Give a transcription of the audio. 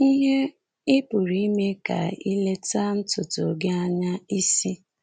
Ihe ị pụrụ ịmee ka ileta ntutu gi anya isi?